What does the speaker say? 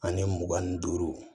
Ani mugan ni duuru